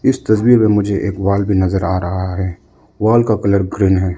इस तस्वीर में मुझे एक वॉल भी नजर आ रहा है वॉल का कलर ग्रीन है।